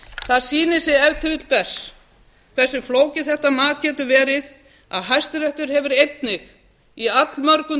það sýnir sig ef til vill best hversu flókið þetta mat getur verið að hæstiréttur hefur einnig í allmörgum